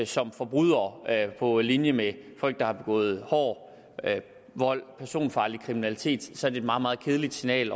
som forbrydere på linje med folk der har begået hård vold og personfarlig kriminalitet så det meget meget kedeligt signal